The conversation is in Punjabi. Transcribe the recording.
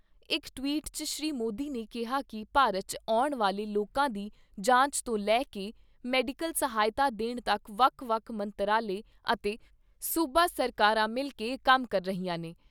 ਇਕ ਟਵੀਟ 'ਚ ਸ੍ਰੀ ਮੋਦੀ ਨੇ ਕਿਹਾ ਕਿ ਭਾਰਤ 'ਚ ਆਉਣ ਵਾਲੇ ਲੋਕਾਂ ਦੀ ਜਾਂਚ ਤੋਂ ਲੈ ਕੇ ਮੈਡੀਕਲ ਸਹਾਇਤਾ ਦੇਣ ਤੱਕ ਵੱਖ ਵੱਖ ਮੰਤਰਾਲੇ ਅਤੇ ਸੂਬਾ ਸਰਕਾਰਾਂ ਮਿਲ ਕੇ ਕੰਮ ਕਰ ਰਹੀਆਂ ਨੇ।